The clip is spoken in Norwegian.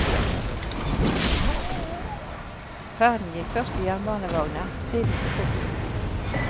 Ferden gikk først i jernbanevogner, siden til fots.